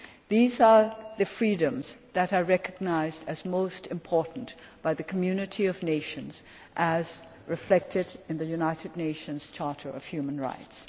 These are the freedoms that are recognised as most important by the Community of Nations, as reflected in the United Nations Charter of Human Rights.